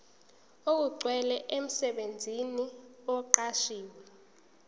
okugcwele umsebenzi oqashwe